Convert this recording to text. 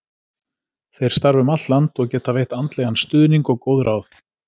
Þeir starfa um allt land og geta veitt andlegan stuðning og góð ráð.